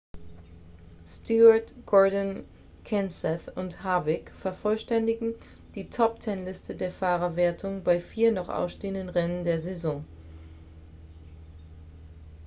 stewart gordon kenseth and harvick vervollständigen die top-ten-liste der fahrerwertung bei vier noch ausstehenden rennen der saison